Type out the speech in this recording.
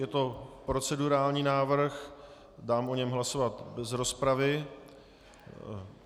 Je to procedurální návrh, dám o něm hlasovat bez rozpravy.